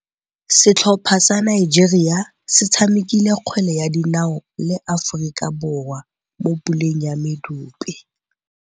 Setlhopha sa Nigeria se tshamekile kgwele ya dinaô le Aforika Borwa mo puleng ya medupe.